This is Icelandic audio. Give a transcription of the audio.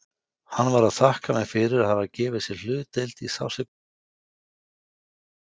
Hann var að þakka mér fyrir að hafa gefið sér hlutdeild í sársaukanum, í kvölinni.